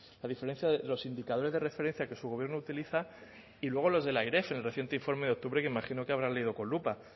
a diferencia de los indicadores de referencia que su gobierno utiliza y luego los de la eref en reciente informe de octubre que me imagino que habrá leído con lupa